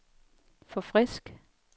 forfrisk